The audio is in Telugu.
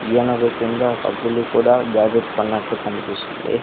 ఈయనొక కింద ఒక పులి కూడా దాబెట్టుకున్నట్టు కనిపిస్తుంది.